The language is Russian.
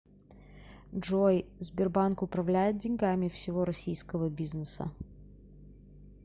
джой сбербанк управляет деньгами всего российского бизнеса